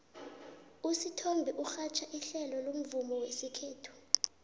usithombe urhatjha ihlelo lomvumo wesikhethu